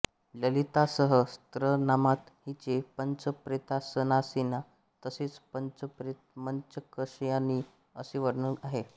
ललितासहस्त्रनामात हिचे पंचप्रेतासनासीना तसेच पंचप्रेतमंचकशायिनी असे वर्णन आहे